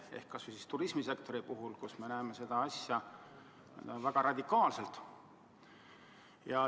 Aga kas või turismisektori puhul avaldub mõju väga radikaalselt.